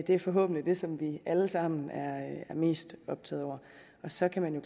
er forhåbentlig det som vi alle sammen er mest optaget af så kan